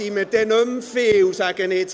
Dann sind wir nicht mehr viele.